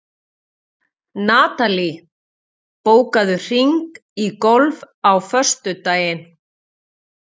Natalí, bókaðu hring í golf á föstudaginn.